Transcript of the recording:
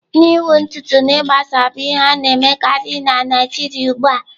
Ịnwụ ntutu na ịgbasa bụ ihe a na-emekarị na Naijiria ugbu a.